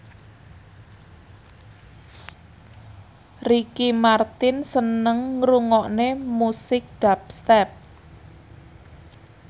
Ricky Martin seneng ngrungokne musik dubstep